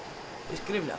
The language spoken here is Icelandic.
skriflega